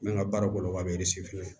N bɛ n ka baara kɔnɔ ka